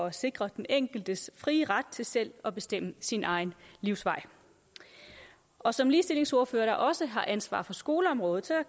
at sikre den enkeltes frie ret til selv at bestemme sin egen livsvej og som ligestillingsordfører der også har ansvaret for skoleområdet